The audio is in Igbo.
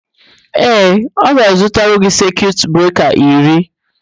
Ee, ọ ga-azụtara gị sekiut breka iri.